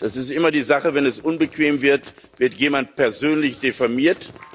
Das ist immer die Sache Wenn es unbequem wird, wird jemand persönlich diffamiert.